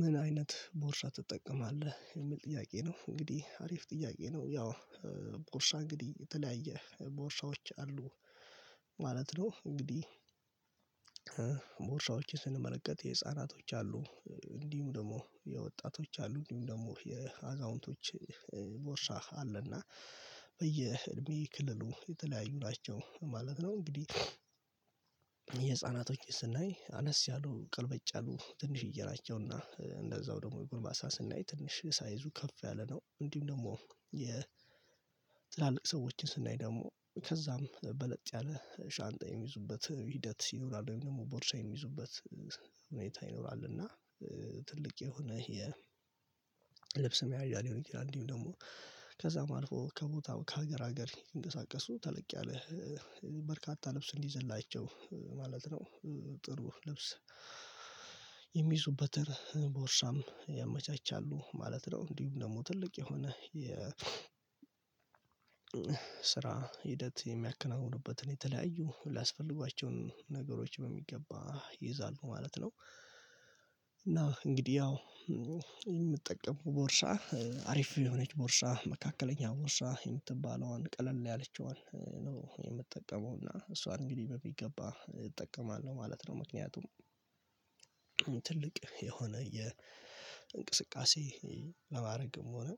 ምን አይነት ቦርሳ ትጠቀማለህ? የሚል ጥያቄ ነው እንግዲህ አሪፍ ጥያቄ ነው ያው ቦርሳ እንግዲህ የተለያየ ቦርሳዎች አሉ ማለት ነው እንግዲህ ስንመረቅ የህፃናቶች አሉ እንዲሁ ደግሞ የወጣቶች አሉ እንዲሁ ደግሞ የአዛውንቶች ቦርሳ አለና በየእድሜ ክልሉ የተለያዩ ናቸው ማለት ነው እንግዲህ የህፃናቶች ስናይ አነስ ያሉ ቅልብጭ ያሉ ትንሽዬ ናቸውና እንደዛው ደግሞ የጉልማሳ ስናይ ትንሽ ሳይዙ ከፍ ያለ ነው እንዲሁም ደግሞ የትላልቅ ሰዎችን ስናይ ደግሞ ከዛም በለጥ ያለ ሻንጣ የሚይዙበት ሂደት ይኖራል ወይም ደግሞ ቦርሳ የሚይዙበት ሁኔታ ይኖራል እና ትልቅ የሆነ የ ልብስ መያዣ ሊሆን ይችላል እንዲሁም ደግሞ ከዛም አልፎ ከቦታው ከሀገር ሀገር እንደሳቀሱ ተለቅ ያለ በርካታ ልብስ እንዲዘላቸው ማለት ነው ጥሩ ልብስ የሚይዙበትን ቦርሳም ያመቻቻሉ ማለት ነው እንዲሁ ደግሞ ትልቅ የሆነ የ ስራ ሂደት የሚያከናውኑበትን የተለያዩ ሊያስፈልጓቸውን ነገሮች በሚገባ ይይዛሉ ማለት ነው እና እንግዲህ ያው የምጠቀመው ቦርሳ አሪፍ የሆነች ቦርሳ መካከለኛ ቦርሳ የምትባለዋን ቀለል ያለችዋን ነው የምጠቀመው እና እሷን እንግዲህ በሚገባ እጠቀማለሁ ማለት ነው ምክንያቱም ትልቅ የሆነ የእንቅስቃሴ ለማድረግም ሆነ